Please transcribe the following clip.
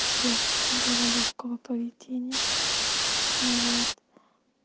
девочка была лёгкого поведения вот